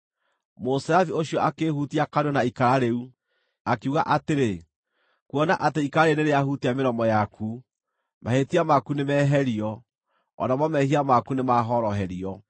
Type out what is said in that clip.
Mũserafi ũcio akĩĩhutia kanua na ikara rĩu, akiuga atĩrĩ, “Kuona atĩ ikara rĩrĩ nĩrĩahutia mĩromo yaku, mahĩtia maku nĩmeherio, o namo mehia maku nĩmahoroherio.”